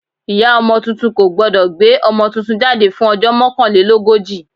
Ìyá ọmọ tuntun kò gbọ́dọ̀ gbé ọmọ tuntun jáde fún ọjọ́ mokanlelogoji.